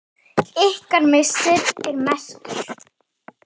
Ykkar missir er mestur.